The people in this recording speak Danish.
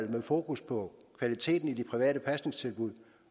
med fokus på kvaliteten i de private pasningstilbud